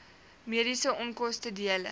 mediese onkoste dele